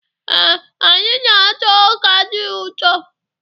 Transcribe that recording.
Ee, anyị na-ata ọ́kà dị ụtọ.